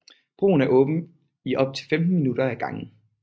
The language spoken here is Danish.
Broen er åben i op til 15 minutter ad gangen